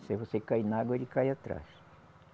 Se você cair na água, ele cai atrás.